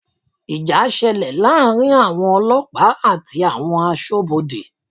Ìjà ṣẹlẹ̀ láàrin àwọn ọlọ́pàá àti àwọn Aṣọ́bodè